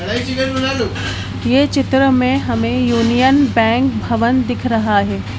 ये चित्र में हमे यूनियन बैंक भवन दिख रहा है।